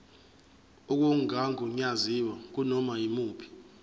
okungagunyaziwe kunoma yimuphi